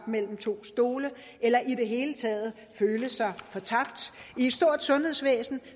mellem to stole eller i det hele taget føle sig fortabt i et stort sundhedsvæsen